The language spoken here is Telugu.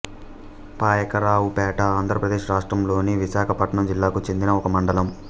పాయకరావుపేట ఆంధ్రప్రదేశ్ రాష్ట్రంలోని విశాఖపట్నం జిల్లాకు చెందిన ఒక మండలం